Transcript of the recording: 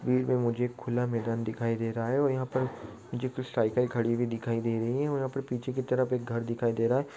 भीड़ में मुझे एक खुला मैदान दिखाई दे रहा है और यहाँ पे मुझे कुछ साइकल खड़ी हुई दिखाई दे रही है और यहाँ पर पीछे की तरफ एक घर दिखाई दे रहा है।